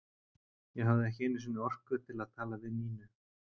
Ég hafði ekki einu sinni orku til að tala við Nínu.